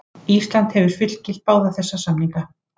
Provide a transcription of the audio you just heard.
Ísland hefur fullgilt báða þessa samninga.